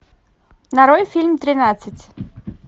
нарой фильм тринадцать